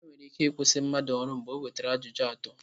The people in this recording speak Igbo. Enwere ike ịkwụsịtụ mmadụ ọrụ mgbe o nwetara ajụjụ atọ.